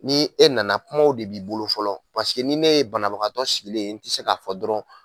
Ni e nana kumaw de b'i bolo fɔlɔ ni ne ye banabagatɔ sigilen n tɛ se k'a fɔ dɔrɔn